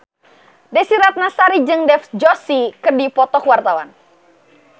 Desy Ratnasari jeung Dev Joshi keur dipoto ku wartawan